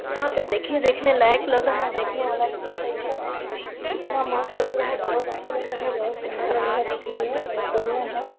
यहाँ पर देखिए देखने लायक लगा है देखने वाला चीज है इ सब इतना मस्त लग रहा है बहुत अच्छा लग रहा है बहुत सुन्दर लग रहा है देखने में बहुत बढ़िया है।